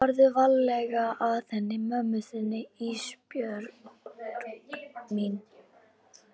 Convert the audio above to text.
Farðu varlega að henni mömmu þinni Ísbjörg mín.